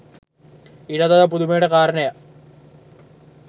ඊටත් වඩා පුදුමයට කාරණයක්